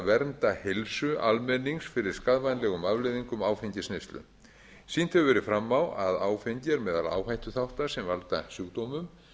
vernda heilsu almennings fyrir skaðvænlegum afleiðingum áfengisneyslu sýnt hefur verið fram á að áfengi er meðal áhættuþátta sem valda sjúkdómum